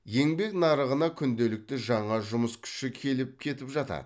еңбек нарығына күнделікті жаңа жұмыс күші келіп кетіп жатады